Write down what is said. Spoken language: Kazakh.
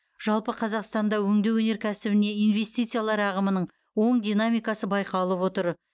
жалпы қазақстанда өңдеу өнеркәсібіне инвестициялар ағымының оң динамикасы байқалып отыр